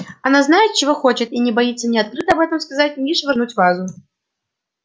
она знает чего хочет и не боится ни открыто об этом сказать ни швырнуть вазу